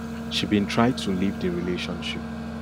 she bin try to leave di relationship